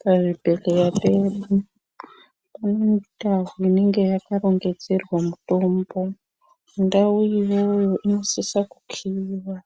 Pazvibhehleya pedu kune ndau inenge yakarongedzerwa mutombo. Ndau iyoyo inosisa kukiiwa,